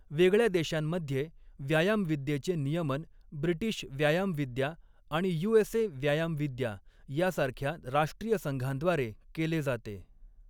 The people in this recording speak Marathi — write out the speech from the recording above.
वेगळ्या देशांमध्ये, व्यायामविद्येचे नियमन ब्रिटिश व्यायामविद्या आणि यू.एस.ए. व्यायामविद्या यासारख्या राष्ट्रीय संघांद्वारे केले जाते.